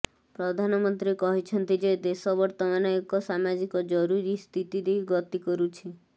ପ୍ରଧାନମନ୍ତ୍ରୀ କହିଛନ୍ତି ଯେ ଦେଶ ବର୍ତ୍ତମାନ ଏକ ସାମାଜିକ ଜରୁରିସ୍ଥିତି ଦେଇ ଗତି କରୁଛି